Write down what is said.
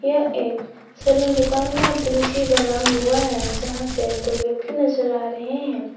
यह एक सैलून दुकान का दृश्य बना हुआ है जहां पे दो व्यक्ति नजर आ रहे हैं।